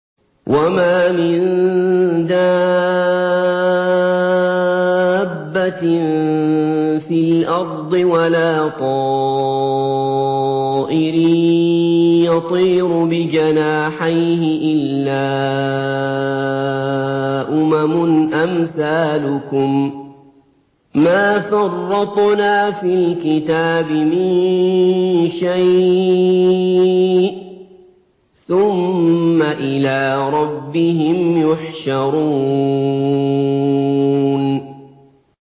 وَمَا مِن دَابَّةٍ فِي الْأَرْضِ وَلَا طَائِرٍ يَطِيرُ بِجَنَاحَيْهِ إِلَّا أُمَمٌ أَمْثَالُكُم ۚ مَّا فَرَّطْنَا فِي الْكِتَابِ مِن شَيْءٍ ۚ ثُمَّ إِلَىٰ رَبِّهِمْ يُحْشَرُونَ